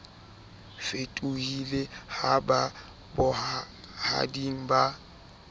fetohile ha ba bohading ba